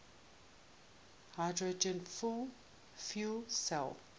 hydrogen fuel cell